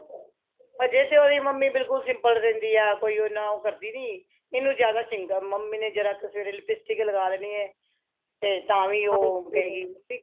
ਅਜੇ ਤੇ ਮੰਮੀ ਉਹਦੀ ਬਿਲਕੁਲ simple ਰਹਿੰਦੀ ਹਾਂ ਕੋਈ ਉਹਨਾ ਉਹ ਕਰਦੀ ਨਹੀਂ ਇਹਨੂੰ ਜਿਆਦਾ ਮੰਮੀ ਨੇ ਜਰਾ ਕ਼ ਸਵੇਰੇ lipstick ਲਗਾਹ ਦੇਣੀ ਏ ਤੇ ਤਾਂ ਵੀ ਉਹ ਕਹੇਗੀ